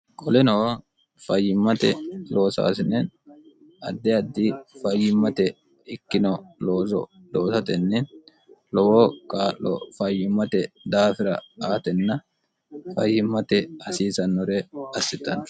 qoleno fayyimmate loosaasine adde addi fayyimmate ikkino looso loosatenni lowo kaa'lo fayyimmate daafira aatenna fayyimmate hasiisannore assitanno